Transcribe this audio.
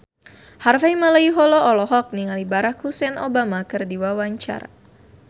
Harvey Malaiholo olohok ningali Barack Hussein Obama keur diwawancara